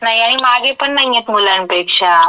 नाही आणि मागे पण नाहीयेत मुलांपेक्षा.